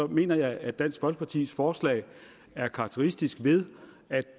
mener jeg at dansk folkepartis forslag er karakteristisk ved at